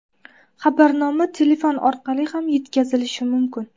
Xabarnoma telefon orqali ham yetkazilishi mumkin.